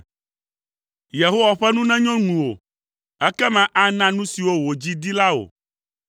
Yehowa ƒe nu nenyo ŋuwò ekema ana nu siwo wò dzi di la wò.